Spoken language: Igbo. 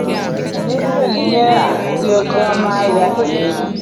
Ị na-eji onyinye a dị oké ọnụ ahịa eme ihe?